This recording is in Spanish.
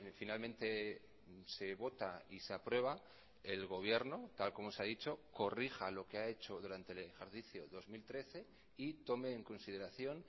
finalmente se vota y se aprueba el gobierno tal como se ha dicho corrija lo que ha hecho durante el ejercicio dos mil trece y tome en consideración